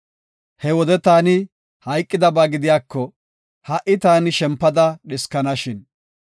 He wode taani hayqidaba gidiyako, ha77i taani shempada dhiskana shin!